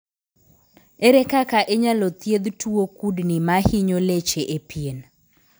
Ere kaka inyalo thiedh tuwo kudni mahinyo leche e pien?